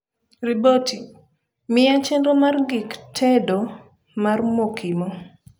riboti miya chenro mar gik tego mar mokimo